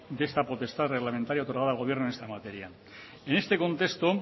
de esta potestad reglamentaria otorgada al gobierno en esta materia en este contexto